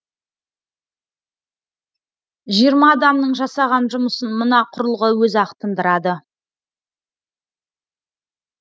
жиырма адамның жасаған жұмысын мына құрылғы өзі ақ тындырады